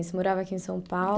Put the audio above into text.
Você morava aqui em São Paulo?